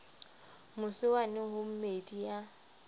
mose wane ho meedi ya